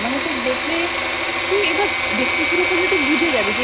মানে তোর দেখলে তুই এবার দেখতে শুরু করলে বুঝে যাবি